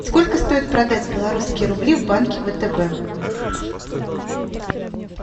сколько стоит продать белорусские рубли в банке втб